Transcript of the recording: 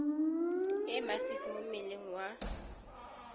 e masisi mo mmeleng wa